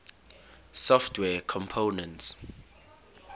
software components